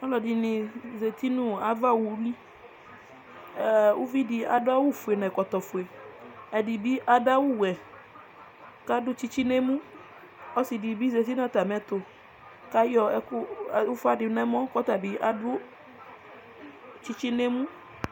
ɔlɔdini zati nʋ aɣa ɔwʋli, ʋvidi adʋ awʋ ƒʋɛ nʋ ɛkɔtɔ ƒʋɛ, ɛdibi adʋ awʋ wɛ kʋ adʋ tsitsi nʋ ɛmʋ, ɔsii dibi zanʋ atami ɛtʋ kʋ ayɔ ʋƒa dʋnʋ ɛmɔ kʋ ɔtabi adʋ tsitsi nʋ ɛmʋ